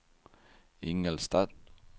Ingelstad